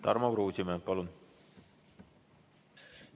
Tarmo Kruusimäe, palun!